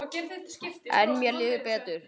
En mér líður betur.